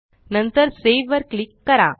नंतर सावे वर क्लिक करा